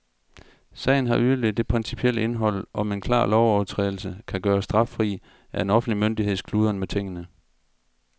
Sagen har yderligere det principielle indhold, om en klar lovovertrædelse kan gøres straffri af en offentlig myndigheds kludren med tingene.